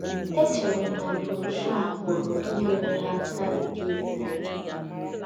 Échèrè m na brọ́shọ̀ a pụ̀rù ínyèrè ha àká nkèrị́rị́.